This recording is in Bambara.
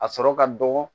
A sɔrɔ ka dɔgɔ